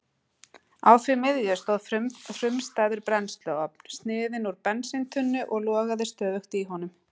Á því miðju stóð frumstæður brennsluofn, sniðinn úr bensíntunnu og logaði stöðugt í honum.